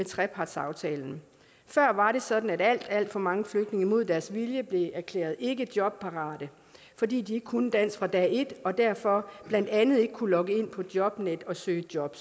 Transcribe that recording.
trepartsaftalen før var det sådan at alt alt for mange flygtninge imod deres vilje blev erklæret ikke jobparate fordi de ikke kunne dansk fra dag et og derfor blandt andet ikke kunne logge ind på jobnet og søge job